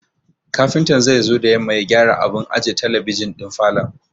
Kafintan zai zo da yamma ya gyara abun aje talabijin ɗin falon.